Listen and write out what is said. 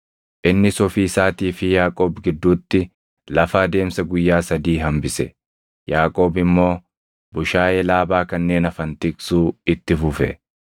Innis ofii isaatii fi Yaaqoob gidduutti lafa adeemsa guyyaa sadii hambise; Yaaqoob immoo bushaayee Laabaa kanneen hafan tiksuu itti fufe.